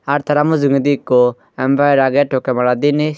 ar tara mujongondi eko empire agey tokey madat diney.